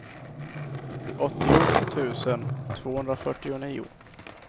åttio tusen tvåhundrafyrtionio